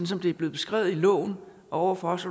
som det er blevet beskrevet i loven og over for os